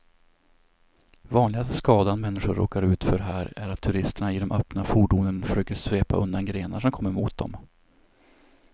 Vanligaste skadan människor råkar ut för här är att turisterna i de öppna fordonen försöker svepa undan grenar som kommer mot dem.